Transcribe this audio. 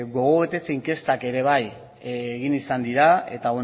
gogo betetze inkestak ere bai egin izan dira eta